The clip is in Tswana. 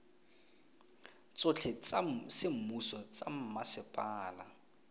tsotlhe tsa semmuso tsa mmasepala